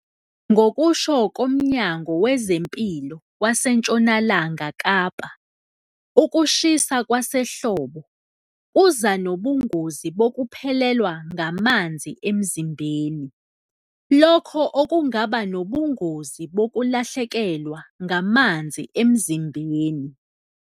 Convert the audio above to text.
Ngokusho koMnyango Wezempilo waseNtshonalanga Kapa, ukushisa kwasehlobo kuza nobungozi bokuphelelwa ngamanzi emzimbeni, lokho okungaba nobungozi bokulahlekelwa ngamanzi emzimbeni.